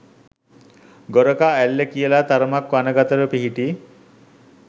ගොරකා ඇල්ල කියලා තරමක් වනගතව පිහිටි